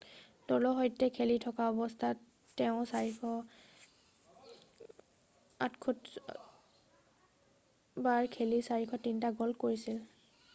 দলৰ সৈতে খেলি থকা অৱস্থাত তেওঁ 468 বাৰ খেলি 403 টা গ'ল কৰিছিল